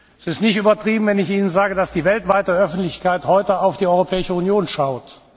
Es ist nicht übertrieben, wenn ich Ihnen sage, dass die weltweite Öffentlichkeit heute auf die Europäische Union schaut.